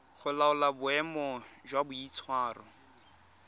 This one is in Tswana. go laola boemo jwa boitshwaro